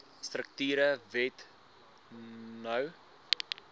strukture wet no